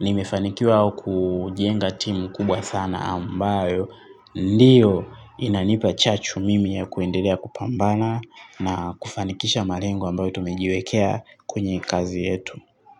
Nimefanikiwa kujienga timu kubwa sana ambayo ndiyo inanipa chachu mimi ya kuendelea kupambana na kufanikisha malengo ambayo tumejiwekea kwenye kazi yetu.